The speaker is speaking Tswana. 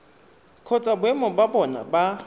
kgotsa boemo ba bona ba